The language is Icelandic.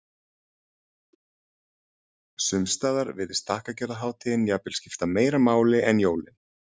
Sums staðar virðist þakkargjörðarhátíðin jafnvel skipta meira máli en jólin.